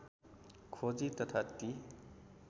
खोजी तथा ती